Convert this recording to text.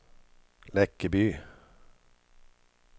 Läckeby